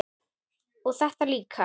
og þetta líka